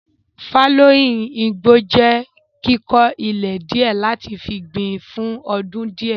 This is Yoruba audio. Fálóìn igbó jẹ́ kíkó ilẹ̀ díẹ̀ láti fi gbìn fún ọdún díẹ̀.